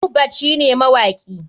Mohbad shine mawakin.